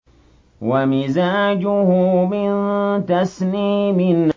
وَمِزَاجُهُ مِن تَسْنِيمٍ